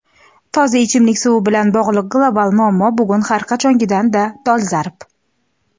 Toza ichimlik suvi bilan bog‘liq global muammo bugun har qachongidanda dolzarb.